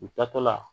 U taatɔ la